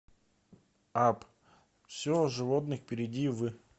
апп все о животных перейди в